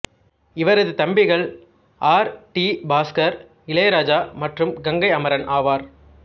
இவரது தம்பிகள் R D Bhaskar Ilaiyaraaja மற்றும் கங்கை அமரன் ஆவார்